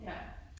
Ja